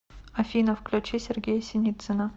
афина включи сергея синицына